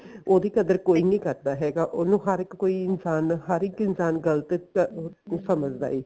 ਉਹਦੀ ਕਦਰ ਕੋਈ ਨੀ ਕਰਦਾ ਹੈਗਾ ਉਹਨੂੰ ਹਰ ਇੱਕ ਕੋਈ ਇਨਸਾਨ ਹਰ ਇੱਕ ਇਨਸਾਨ ਗਲਤ ਸਮਝ ਦਾ ਐ